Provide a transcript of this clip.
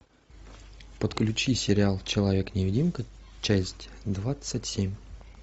подключи сериал человек невидимка часть двадцать семь